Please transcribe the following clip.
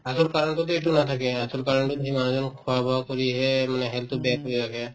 আচল কাৰণতোতে এইটো নাথাকে আচল কাৰণতোত সেই মানুহজন খোৱা-বোৱা কৰিহে মানে health তো বেয়া কৰি ৰাখে